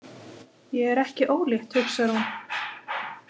Ég er ekki ólétt, hugsar hún.